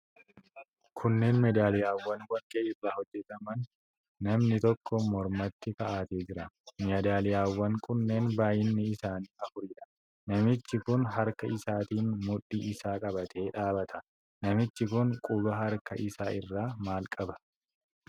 Kunneen meedaaliyaawwan warqee irraa hojjataman, namni tokko mormatti kaa'atee jira. Meedaaliyaawwan kunneen baay'inni isaanii afuridha. Namichi kun harka isaatiin mudhii isaa qabatee dhaabata. Namichi kun quba harka isaa irraa maal qaba?